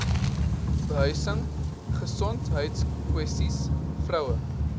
behuising gesondheidskwessies vroue